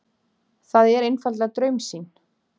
Það er einfaldlega draumsýn.